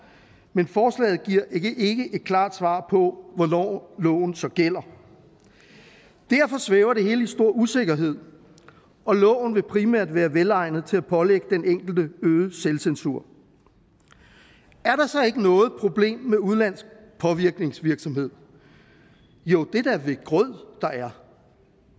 men forslaget giver ikke et klart svar på hvornår loven så derfor svæver det hele i stor usikkerhed og loven vil primært være velegnet til at pålægge den enkelte øget selvcensur er der så ikke noget problem med udenlandsk påvirkningsvirksomhed jo det er da ved grød der er